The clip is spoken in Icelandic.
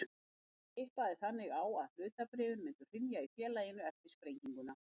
Hann tippaði þannig á að hlutabréfin myndu hrynja í félaginu eftir sprenginguna.